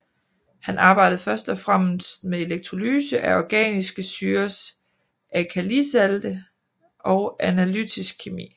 Han arbejdede først og fremmest med elektrolyse af organiske syrers alkalisalte og analytisk kemi